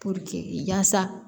Puruke yaasa